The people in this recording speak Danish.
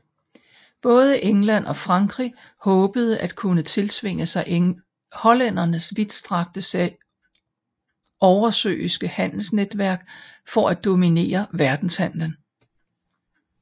Både England og Frankrig håbede at kunne tiltvinge sig hollændernes vidtstrakte oversøiske handelsnetværk for at dominere verdenshandlen